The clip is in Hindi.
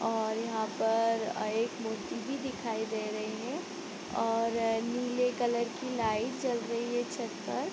और यहाँ पर अ एक मूर्ति भी दिखाई दे रही है और नीले कलर की लाइट जल रही है छत पर ।